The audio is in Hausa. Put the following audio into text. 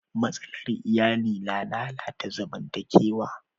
Matsalar iya na lalata zamantakewa.